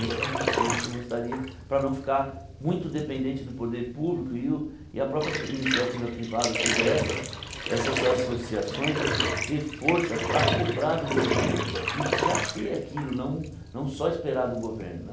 Esse é um dos sonhos que eu gostaria, para não ficar muito dependente do poder público e o e a própria iniciativa privada, ou seja, essas essas associações ter força para cobrar do governo e já ter aquilo, não não só esperar do governo né.